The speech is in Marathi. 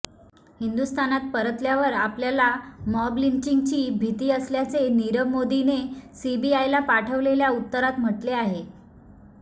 हिंदुस्थानात परतल्यावर आपल्याला मॉब लिंचिगची भीती असल्याचे नीरव मोदीने सीबीआयला पाठवलेल्या उत्तरात म्हटले आहे